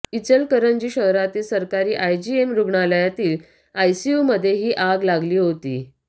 इचलकरंजी शहरातील सरकारी आयजीएम रुग्णालयातील आयसीयूमध्ये ही आग लागली होती